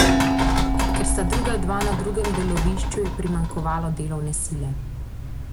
Ker sta druga dva na drugem delovišču, je primanjkovalo delovne sile.